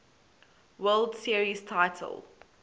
world series title